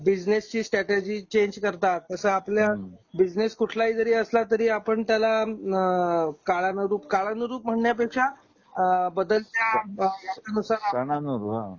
बिझनेसची strategy change करता. तस आपल्या बिझनेस कुठला हि जरी असला तरी आपण त्याला काळानोदूक, काळानोदूक म्हण्या पेक्षा अ बदलत्या सणासूर सणांवर हां